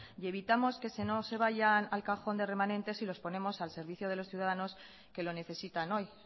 y evitamos que no se vayan al cajón de remanentes si lo ponemos al servicio de los ciudadanos que lo necesitan hoy